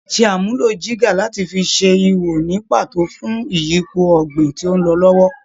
Ṣe àmúlò jígà láti fi ṣe ihò ní pàtó fún ìyípo ọ̀gbìn tí ó ń lọ lọ́wọ́